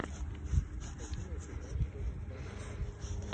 хочу найти матч тоттенхэм арсенал